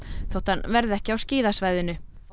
þótt hann verði ekki á skíðasvæðinu